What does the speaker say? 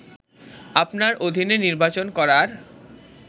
আপনার অধীনে নির্বাচন করার